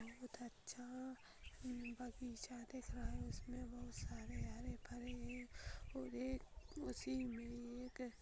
बहुत अच्छा बगीचा दिख रहा है उसमे बहुत सरे हरे-भरे और एक उसी मे एक--